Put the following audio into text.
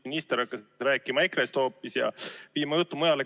Minister hakkas rääkima hoopis EKRE-st ja viima juttu mujale.